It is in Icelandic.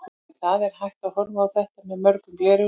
En það er hægt að horfa á þetta með mörgum gleraugum.